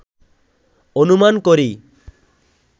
অনুমান করি